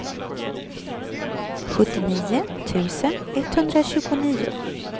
sjuttionio tusen etthundratjugonio